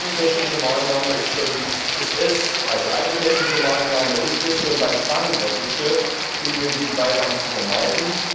Eine technische Maßnahme ist es, schon beim Fang der Fische unnötigen Beifang zu vermeiden.